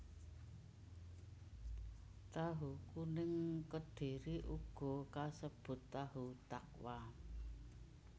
Tahu kuning Kedhiri uga kasebut tahu takwa